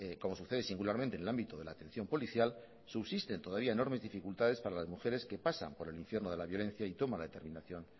como sucede singularmente en el ámbito de la atención policial subsisten todavía enormes dificultades para las mujeres que pasan por el infierno de la violencia y toman la determinación